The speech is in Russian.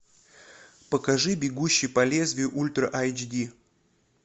покажи бегущий по лезвию ультра айч ди